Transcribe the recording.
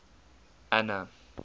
anna